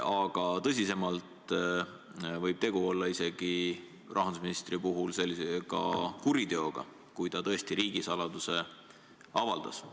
Aga tõsisemalt võib rahandusministri puhul olla tegu isegi kuriteoga, kui ta tõesti riigisaladuse avaldas.